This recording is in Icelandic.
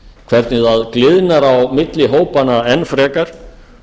hvernig það gliðnar á bilið hópanna enn frekar